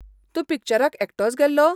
तूं पिक्चराक एकटोच गेल्लो?